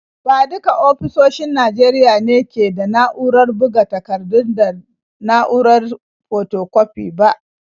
Ba duka ofisoshin Najeriya ne ke da na’urar buga takardu da na’urar fotokwafi ba.